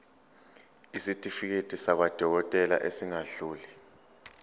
isitifiketi sakwadokodela esingadluli